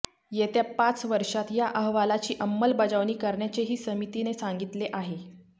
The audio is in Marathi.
येत्या पाच वर्षात या अहवालाची अंमलबजावणी करण्याचेही समितीने सांगितले आहे